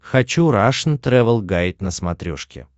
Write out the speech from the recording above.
хочу рашн тревел гайд на смотрешке